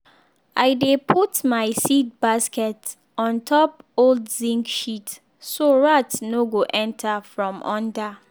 i dey put my seed basket on top old zinc sheet so rat no go enter from under